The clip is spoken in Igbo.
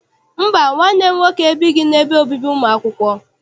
Mba, nwanne m nwoke ebighị n'ebe obibi ụmụ akwụkwọ.